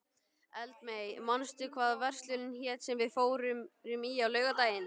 Eldmey, manstu hvað verslunin hét sem við fórum í á laugardaginn?